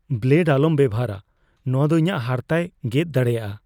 Blade ᱟᱞᱚᱢ ᱵᱮᱵᱚᱦᱟᱨᱼᱟ ᱾ ᱱᱚᱣᱟ ᱫᱚ ᱤᱧᱟᱜ ᱦᱟᱨᱛᱟᱭ ᱜᱮᱫ ᱫᱟᱲᱮᱭᱟᱜᱼᱟ ᱾